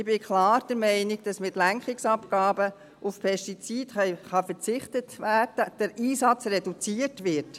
Ich bin klar der Meinung, dass mit Lenkungsabgaben auf Pestizide verzichtet werden kann, der Einsatz reduziert wird.